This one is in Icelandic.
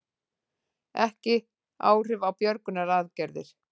Ekki áhrif á björgunaraðgerðir